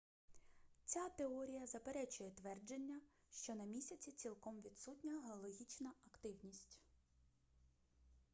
ця теорія заперечує твердження що на місяці цілком відсутня геологічна активність